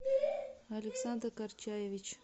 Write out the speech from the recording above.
александр горчаевич